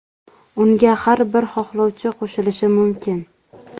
Unga har bir xohlovchi qo‘shilishi mumkin.